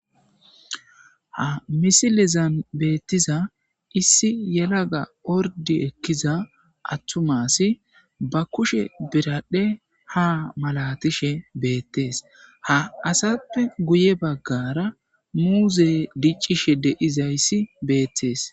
ha misilezan beettiza issi yelaga ordi ekkiza attumma assi ba kushe biradhdhe ha malatishe beettees ha asappe guye baggara muuze dicishshe de'izayssi beettees